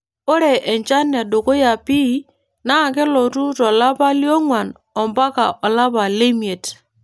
Ore enchan edukuya pii naa kelotu to lapa lioong'uan mpaka olapa lemiet.